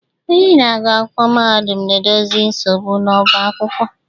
Onye na-agụ akwụkwọ mahadum na-edozi nsogbu n'ọbá akwụkwọ